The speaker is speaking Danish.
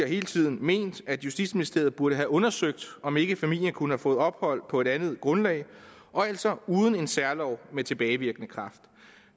hele tiden ment at justitsministeriet burde have undersøgt om ikke familien kunne have fået ophold på et andet grundlag og altså uden en særlov med tilbagevirkende kraft